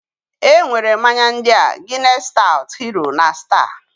E nwere mmanya ndịaː Guinness Stout, Hero, na Star.